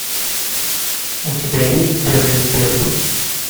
у тебя есть берлин берлин